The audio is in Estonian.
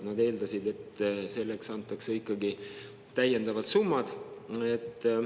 Nad eeldasid, et selleks antakse ikkagi täiendavad summad.